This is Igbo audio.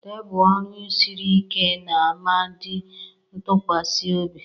Tebụl ọrụ siri ike na ma dị ntụkwasị obi.